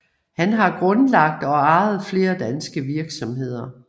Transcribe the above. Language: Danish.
Han har grundlagt og ejet flere danske virksomheder